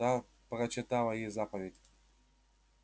та прочитала ей заповедь